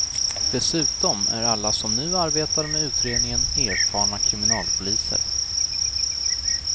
Dessutom är alla som nu arbetar med utredningen erfarna kriminalpoliser.